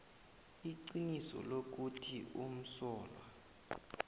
iqiniso lokuthi umsolwa